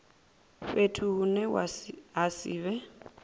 fhethu hune ha si vhe